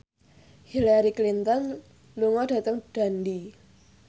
Hillary Clinton lunga dhateng Dundee